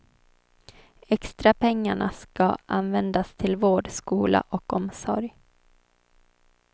Extrapengarna ska användas till vård, skola och omsorg.